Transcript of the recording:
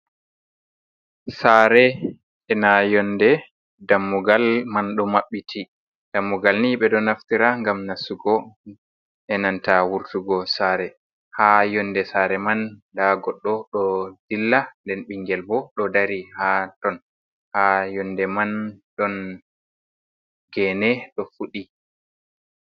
Sare e na yonde dammugal man ɗo maɓɓiti dammugal ni ɓe ɗo naftira gam nassugo, enanta wurtugo sare, ha yonde sare man nda goɗɗo o ɗo dilla den ɓingel bo ɗo dari ha ton ha yonde man ɗon gene ɗo fuɗi.